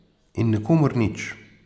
In nikomur nič.